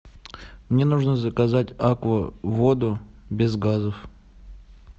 мне нужно заказать аква воду без газов